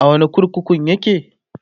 a wani kurkukun yake?